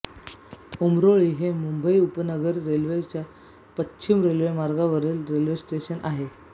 उमरोळी हे मुंबई उपनगरी रेल्वेच्या पश्चिम रेल्वे मार्गावरील रेल्वेस्थानक आहे